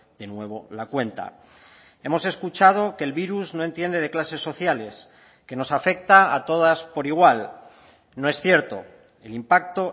de nuevo la cuenta hemos escuchado que el virus no entiende de clases sociales que nos afecta a todas por igual no es cierto el impacto